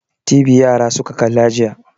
TV yara suka kalla jiya.